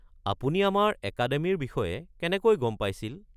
আপুনি আমাৰ একাডেমিৰ বিষয়ে কেনেকৈ গম পাইছিল।